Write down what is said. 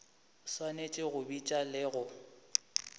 swanetše go bitša le go